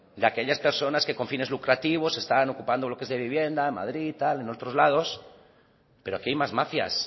de aquellas personas que con fines lucrativos están ocupando bloques de vivienda en madrid tal en otros lados pero aquí hay más mafias